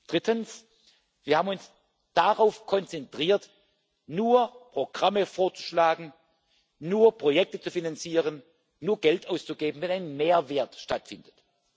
Drittens Wir haben uns darauf konzentriert, nur Programme vorzuschlagen, nur Projekte zu finanzieren, nur Geld auszugeben, wenn ein Mehrwert stattfindet.